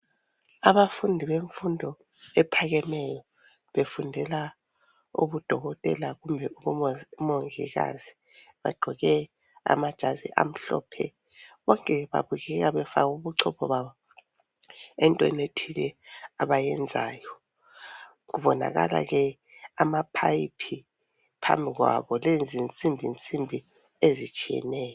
Abafundi bemfundo ephakemeyo befundela ubuDokotela kumbe umongikazi bagqoke amajazi amhlophe. bonke babukeka befake ubuchopho babo entweni ethile abayenzayo kubonakala ke amaphayiphi phambi kwabo lezinsimbinsimbi ezitshiyeneyo.